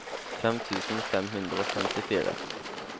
fem tusen fem hundre og femtifire